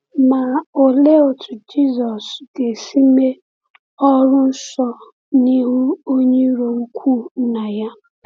Ma òlee otú Jésù ga-esi mee ọrụ nsọ n’ihu onye iro ukwu Nna ya?